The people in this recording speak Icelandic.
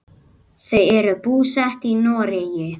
Þau eru búsett í Noregi.